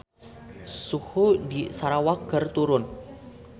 Suhu di Sarawak keur turun